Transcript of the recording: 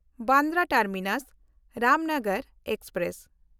Bandra ᱴᱟᱨᱢᱤᱱᱟᱥ–ᱨᱟᱢᱱᱚᱜᱚᱨ express